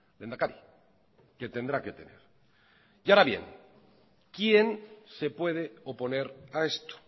lehendakari que tendrá que tener y ahora bien quién se puede oponer a esto